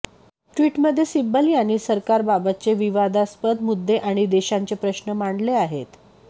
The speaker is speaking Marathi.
ट्विटमध्ये सिब्बल यांनी सरकारबाबतचे विवादास्पद मुद्दे आणि देशाचे प्रश्न मांडले आहेत